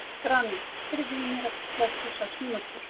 Grani, heyrðu í mér eftir þrjátíu og sex mínútur.